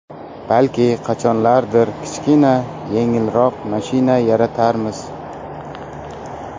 Balki, qachonlardir kichkina, yengilroq mashina yaratarmiz”.